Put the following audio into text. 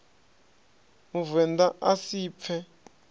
muvend a a si pfe